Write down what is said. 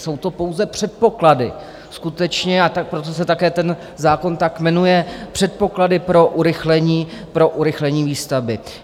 Jsou to pouze předpoklady skutečně, a proto se také ten zákon tak jmenuje, předpoklady pro urychlení výstavby.